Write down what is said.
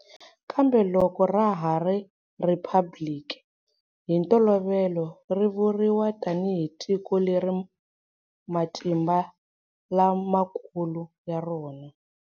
Kambe loko ra ha ri 'rhiphabiliki' hi ntolovelo ri vuriwa tanihi tiko leri matimba la makulu ya rona.